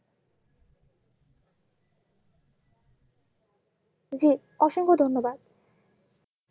জি অসংখ্য ধন্যবাদ।